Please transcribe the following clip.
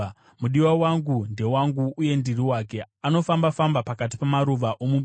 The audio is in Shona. Mudiwa wangu ndewangu uye ndiri wake; anofamba-famba pakati pamaruva omubani.